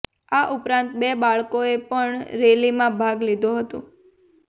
આ ઉપરાંત બે બાળકોએ પણ રેલીમાં ભાગ લીધો હતો